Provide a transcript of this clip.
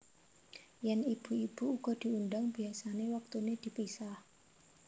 Yèn ibu ibu uga diundhang biasané wektuné dipisah